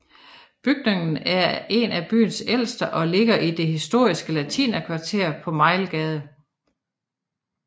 Bygningen er en af byens ældste og ligger i det historiske latinerkvarter på Mejlgade